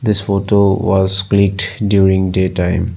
This photo was clicked during day time.